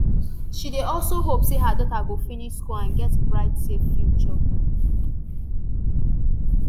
she dey also hope say her daughter go finish school and get bright safe future